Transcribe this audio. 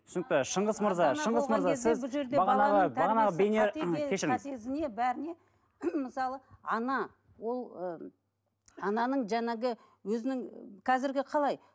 түсінікті шыңғыс мырза шыңғыс мырза мысалы ана ол ыыы ананың жаңағы өзінің қазіргі қалай